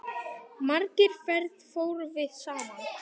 Margar ferðir fórum við saman.